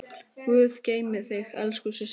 Guð geymi þig elsku systir.